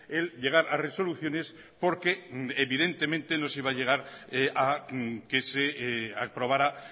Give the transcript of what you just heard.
el llegar a resoluciones porque evidentemente no se iba a llegar a que se aprobara